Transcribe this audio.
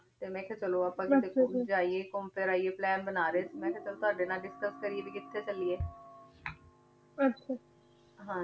ਤੇ ਮੈਂ ਅਖ੍ਯਾ ਚਲੋ ਆਹ ਕਿਤੇ ਜਯਾ ਘੂਮ ਫਿਰ ਆਇਯੇ plan ਬਣਾ ਰਹੀ ਸੀ ਮੈਂ ਅਖ੍ਯਾ ਚਲ ਤਾਵਾਡੇ ਨਾਲ discuss ਕਰਿਯੇ ਭਾਈ ਕਿਥੇ ਚਲਿਯ ਆਹ